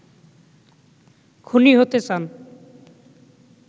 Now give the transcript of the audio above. খুনী হতে চান